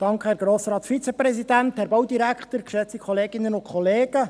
Kommissionssprecher der FiKo.